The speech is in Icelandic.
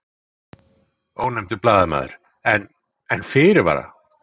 Ónefndur blaðamaður: En, en fyrirvara?